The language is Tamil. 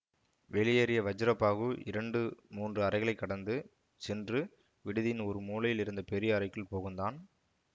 வெளியேறிய வஜ்ரபாஹு இரண்டு மூன்று அறைகளை கடந்து சென்று விடுதியின் ஒரு மூலையில் இருந்த பெரிய அறைக்குள் புகுந்தான்